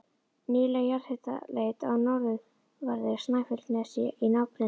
Nýleg jarðhitaleit á norðanverðu Snæfellsnesi í nágrenni